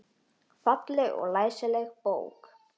Falleg og læsileg bók.